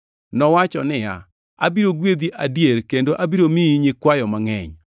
nowacho niya, “Abiro gwedhi adier, kendo abiro miyi nyikwayo mangʼeny.” + 6:14 \+xt Chak 22:17\+xt*